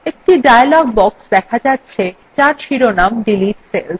একটি dialog box দেখা যাচ্ছে যার শিরোনাম delete cells